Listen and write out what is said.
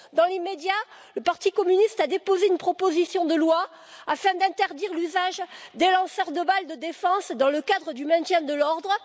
Dans l'immédiat, le Parti communiste a déposé une proposition de loi afin d'interdire l'usage des lanceurs de balles de défense dans le cadre du maintien de l'ordre.